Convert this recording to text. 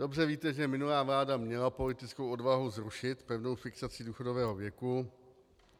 Dobře víte, že minulá vláda měla politickou odvahu zrušit pevnou fixaci důchodového věku.